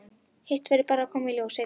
Hitt verður bara að koma í ljós seinna.